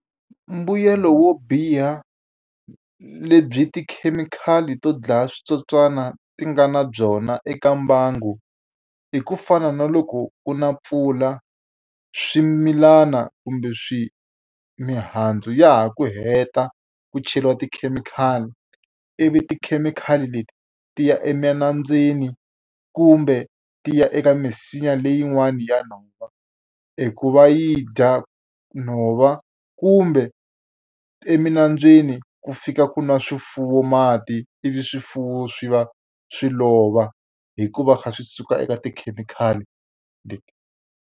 Mbuyelo wo biha lebyi tikhemikhali to dlaya switsotswana ti nga na byona eka mbangu, i ku fana na loko u na mpfula swimilana kumbe mihandzu ya ha ku heta ku cheriwa tikhemikhali. Ivi tikhemikhali leti ti ya eminambyeni, kumbe ti ya eka misinya leyin'wana ya nhova, hi ku va yi dya nhova kumbe eminambyeni ku fika ku nwa swifuwo mati, ivi swifuwo swi va swi lova hikuva swi suka eka tikhemikhali leti.